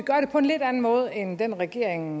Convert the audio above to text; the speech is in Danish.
på en lidt anden måde end den regering